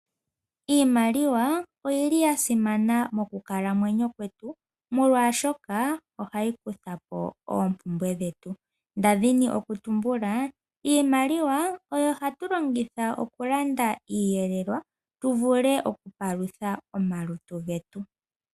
Iimaliwa oyili ya simana mokukalamwenyo kwetu molwashoka ohayi kutha po oompumbwe dhetu. Nda dhini okutumbula iimaliwa oyo hatu longitha okulanda iiyelelwa tu vule okupalutha omalutu getu.